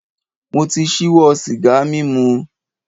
Mo ti ṣíwọ́ sìgá mímu.